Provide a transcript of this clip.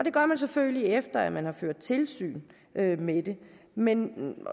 gør man selvfølgelig efter at man har ført tilsyn med med det men